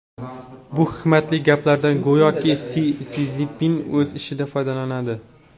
Bu hikmatli gaplardan go‘yoki Si Szinpin o‘z ishida foydalanadi.